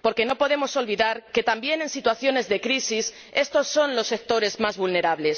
porque no podemos olvidar que también en situaciones de crisis estos son los sectores más vulnerables.